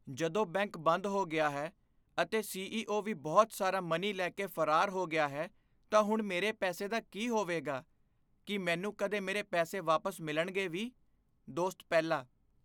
ਜਦੋਂ ਬੈਂਕ ਬੰਦ ਹੋ ਗਿਆ ਹੈ ਅਤੇ ਸੀ.ਈ.ਓ. ਵੀ ਬਹੁਤ ਸਾਰਾ ਮਨੀ ਲੈ ਕੇ ਫਰਾਰ ਹੋ ਗਿਆ ਹੈ ਤਾਂ ਹੁਣ ਮੇਰੇ ਪੈਸੇ ਦਾ ਕੀ ਹੋਵੇਗਾ? ਕੀ ਮੈਨੂੰ ਕਦੇ ਮੇਰੇ ਪੈਸੇ ਵਾਪਸ ਮਿਲਣਗੇ ਵੀ? ਦੋਸਤ ਪਹਿਲਾ